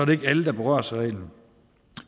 det ikke alle der berøres af reglen